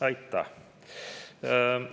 Aitäh!